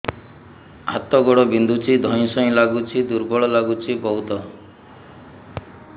ହାତ ଗୋଡ ବିନ୍ଧୁଛି ଧଇଁସଇଁ ଲାଗୁଚି ଦୁର୍ବଳ ଲାଗୁଚି ବହୁତ